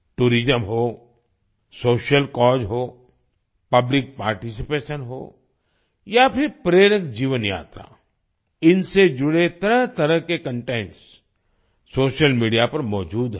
tourism हो social cause हो public participation हो या फिर प्रेरक जीवन यात्रा इनसे जुड़े तरहतरह के कंटेंट्स सोशल मीडिया पर मौजूद हैं